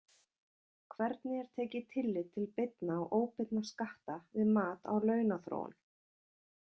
Hvernig er tekið tillit til beinna og óbeinna skatta við mat á launaþróun?